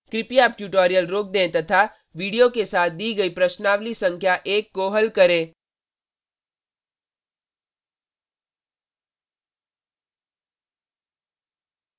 कृपया अब ट्यूटोरियल रोक दें तथा वीडियो के साथ दी गई प्रश्नावली संख्या एक को हल करें